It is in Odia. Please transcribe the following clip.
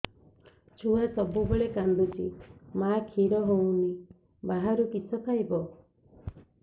ଛୁଆ ସବୁବେଳେ କାନ୍ଦୁଚି ମା ଖିର ହଉନି ବାହାରୁ କିଷ ଖାଇବ